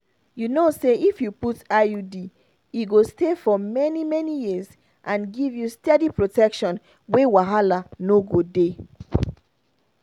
you know say if you put iud e go stay for many-many years and give you steady protection wey wahala no go dey.